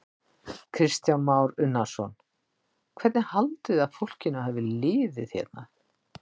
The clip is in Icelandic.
Kristján Már Unnarsson: Hvernig haldið þið að fólkinu hafi liðið hérna?